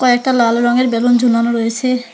একটা লাল রঙের বেলুন ঝুলানো রয়েসে।